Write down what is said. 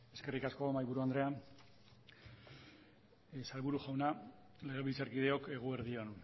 eskerrik asko mahaiburu andrea sailburu jauna legebiltzarkideok eguerdi on